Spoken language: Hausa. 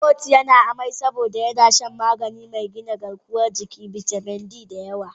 Timothy yana amai saboda ya sha magani mai gina garkuwan jiki/bitamin B, da yawa.